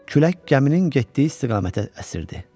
Külək gəminin getdiyi istiqamətə əsirdi.